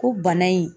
Ko bana in